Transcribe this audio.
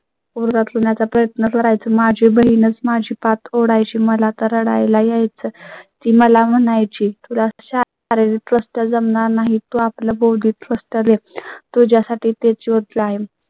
पुरवा करण्याचा प्रयत्न करायचं. माझी बहीणच माझी पाठ सोडाय ची. मला तर आई ला यायचं ती मला म्हणाय ची थोडय़ा शारीरिक कष्ट जमणार नाही. तो आपल्या बौद्धिक कष्ट देत तो ज्या साठी ते च योग्य आहे.